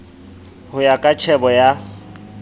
ho ya ka tjhebo ya